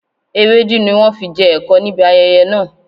Ewédú ni wọn fi jẹ ẹ̀kọ níbi ayẹyẹ náà